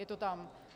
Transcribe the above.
Je to tam.